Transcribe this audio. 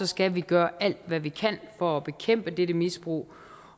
skal vi gøre alt hvad vi kan for at bekæmpe dette misbrug